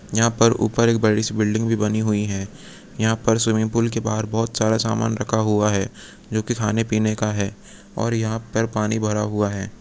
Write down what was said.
यहाँ पर ऊपर एक बड़ी सी बिल्डिंग भी बनी है यहाँ पर स्विमिंग पूल के बाहर बोहोत सारा समान रखा हुआ है जो कि खाने- पीने का हैं और यहाँ पर पानी भरा हुआ है।